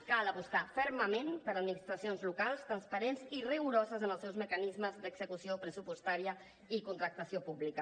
cal apostar fermament per administracions locals transparents i rigoroses en els seus mecanismes d’execució pressupostària i contractació pública